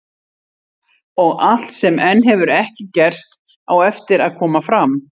Og allt sem enn hefur ekki gerst, á eftir að koma fram.